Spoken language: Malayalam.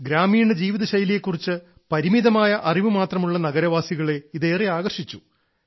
ഗ്രാമീണ ജീവിതശൈലിയെ കുറിച്ച് പരിമിതമായ അറിവ് മാത്രമുള്ള നഗരവാസികളെ ഇത് ഏറെ ആകർഷിച്ചു